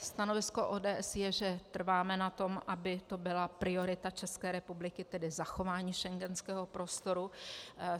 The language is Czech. Stanovisko ODS je, že trváme na tom, aby to byla priorita České republiky, tedy zachování schengenského prostoru.